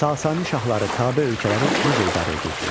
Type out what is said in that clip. Sasani şahları tabe ölkələri necə idarə edirdilər?